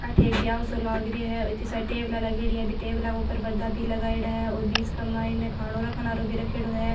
अठे एक ब्याव सो लाग रियो है और इत्ती सारी टेबला लागयोड़ी है बी टेबला के ऊपर पर्दा भी लगाईडा है और बिच के माय खानो रखन आरो भी रखयोड़ो है।